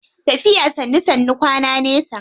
Tafiya sannu sannu kwana nesa.